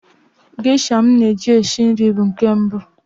Gesha m na-eji esi nri bụ nke mbụ.